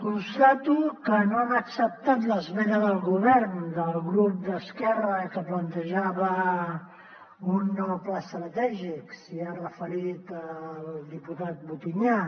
constato que no han acceptat l’esmena del govern del grup d’esquerra que plantejava un nou pla estratègic s’hi ha referit el diputat butinyà